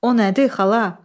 O nədir, xala?